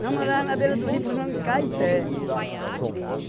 Nós morávamos na beira do rio, por nome Caeté.